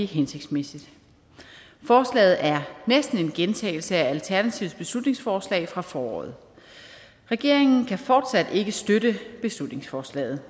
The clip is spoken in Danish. hensigtsmæssigt forslaget er næsten en gentagelse af alternativets beslutningsforslag fra foråret regeringen kan fortsat ikke støtte beslutningsforslaget